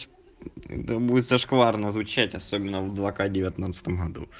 да будет зашкварно звучать особенно в два к девятнадцатом году